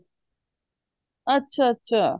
ਅੱਛਾ ਅੱਛਾ